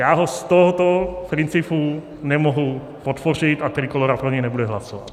Já ho z tohoto principu nemohu podpořit a Trikólora pro něj nebude hlasovat.